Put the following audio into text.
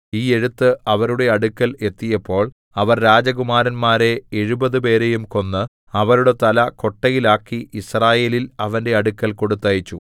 ഈ എഴുത്ത് അവരുടെ അടുക്കൽ എത്തിയപ്പോൾ അവർ രാജകുമാരന്മാരെ എഴുപതുപേരെയും കൊന്ന് അവരുടെ തല കൊട്ടയിൽ ആക്കി യിസ്രായേലിൽ അവന്റെ അടുക്കൽ കൊടുത്തയച്ചു